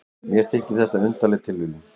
Mér þykir þetta undarleg tilviljun.